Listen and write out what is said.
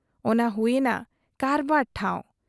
ᱚᱱᱟ ᱦᱩᱭ ᱮᱱᱟ ᱠᱟᱨᱵᱟᱨ ᱴᱷᱟᱶ ᱾